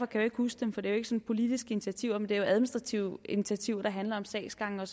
kan huske for det er jo politiske initiativer men administrative initiativer der handler om sagsgange